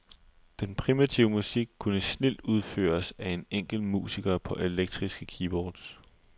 Den primitive musik kunne snildt udføres af en enkelt musiker på elektriske keyboards.